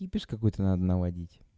кипиш какой-то надо наводить